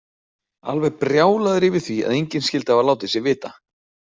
Alveg brjálaður yfir því að enginn skyldi hafa látið sig vita!